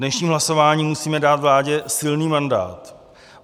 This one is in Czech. Dnešním hlasováním musíme dát vládě silný mandát.